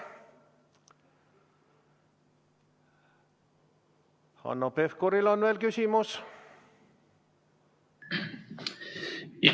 Hanno Pevkuril on veel küsimus?